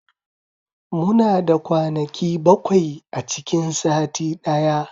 Muna da kwanaki bakwai a cikin sati daya